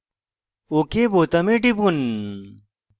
ok বোতামে টিপুন